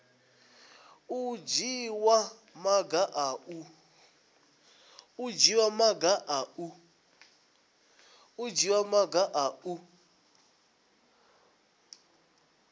u dzhiwa maga a u